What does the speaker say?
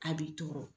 A b'i tɔɔrɔ